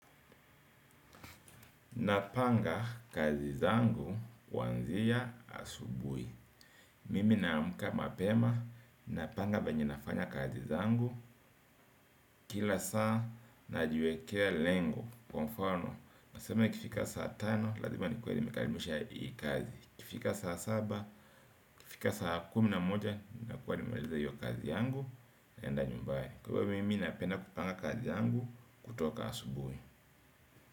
Napanga kazi zangu kuanzia asubui mimi naamka mapema. Napanga venye nafanya kazi zangu kila saa najwekea lengo. Kwa mfano nasema ikifika saa tano lazima nikiue nimekalimisha hii kazi. Ikifika saa saba ikifika saa kumi na moja. Nakuwa nimemaliza hiyo kazi zangu naenda nyumbani. Kwa hivyo mimi napenda kupanga kazi zangu kutoka asubui.